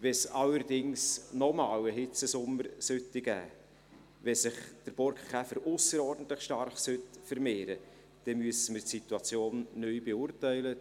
Sollte es allerdings noch einmal einen Hitzesommer geben, sollte sich der Borkenkäfer ausserordentlich stark vermehren, dann müssen wir die Situation neu beurteilen.